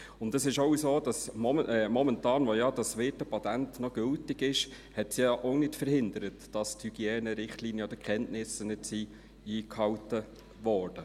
Zudem ist es auch so, dass es momentan, wo ja das Wirtepatent noch gültig ist, ja auch nicht daran gehindert hat, dass die Hygienerichtlinien oder -kenntnisse nicht eingehalten wurden.